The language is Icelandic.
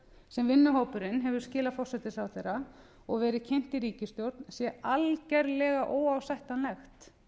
sem vinnuhópurinn hefur skilað forsætisráðherra og verið kynnt í ríkisstjórn sé algjörlega óásættanlegt